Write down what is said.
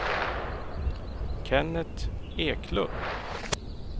Kenneth Eklund